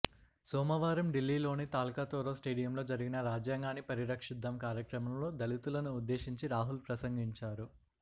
సోమవారం ఢిల్లీలోని తాల్కాతోరా స్టేడియంలో జరిగిన రాజ్యాంగాన్ని పరిరక్షిద్దాం కార్యక్రమంలో దళితులను ఉద్దేశించి రాహుల్ ప్రసంగించారు